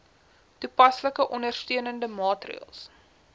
toepaslike ondersteunende maatreëls